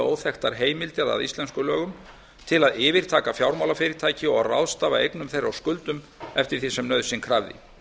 óþekktar heimildir að íslenskum lögum til að yfirtaka fjármálafyrirtæki og ráðstafa eigum þeirra og skuldum eftir því sem nauðsyn krafði